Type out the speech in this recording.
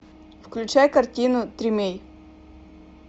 включай картину тримей